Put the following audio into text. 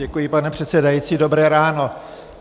Děkuji, pane předsedající dobré ráno.